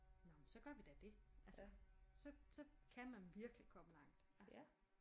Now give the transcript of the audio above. Nå men så gør vi da det altså så så kan man virkelig komme langt altså